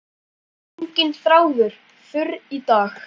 Enginn þráður þurr í dag.